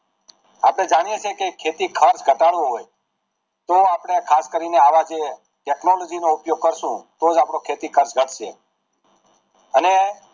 આપણે જાણીએ છીએ કે ખેતી ખર્ચ ઘટાડવો હોય તો આપણે ખાસ કરી ને આવા જે technology નો ઉપયોગ કરશું તો જ આપડો ખેતી ખર્ચ ઘટશે હેલો